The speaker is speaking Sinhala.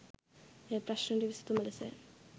එය ප්‍රශ්නයට විසඳුම ලෙස